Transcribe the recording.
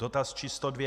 Dotaz číslo dvě.